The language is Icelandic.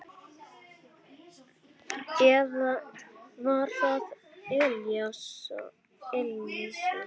Eða var það Elísa?